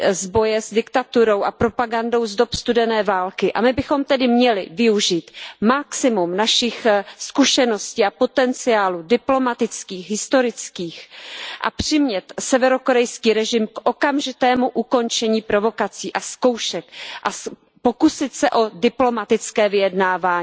z boje s diktaturou a propagandou z dob studené války a my bychom tedy měli využít maximum našich zkušeností a diplomatických a historických potenciálů a přimět severokorejský režim k okamžitému ukončení provokací a zkoušek a pokusit se o diplomatické vyjednávání.